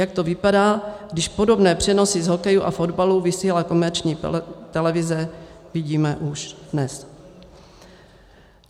Jak to vypadá, když podobné přenosy z hokeje a fotbalu vysílá komerční televize, vidíme už dnes.